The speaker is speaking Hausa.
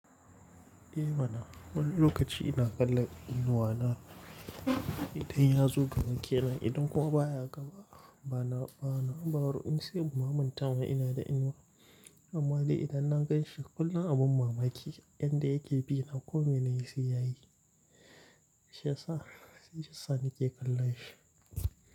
Eh mana, wani lokaci ina kallan inuwa na idan ya zo gaban ke nan, idan kuma baya gaba na, bana, ba ru in sai namanta ma ina da inuwa. Amma dai idan na ganshi kullum abun mamaki yan da yake bi na komai nayi sai yayi. Shaya sa, shi ya sa nake kallon shi.